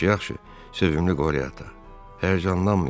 Yaxşı, yaxşı, sevimli Qorya ata, həyəcanlanmayın.